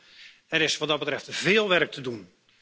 Er is wat dat betreft veel werk te doen.